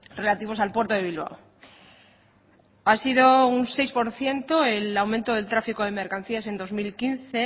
relativos al puerto de bilbao ha sido un seis por ciento el aumento del tráfico de mercancías en dos mil quince